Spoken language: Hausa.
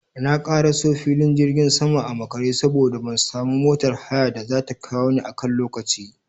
Na karaso filin jirgin sama a makare saboda ban samu motar haya da zata kawo ni a kan lokaci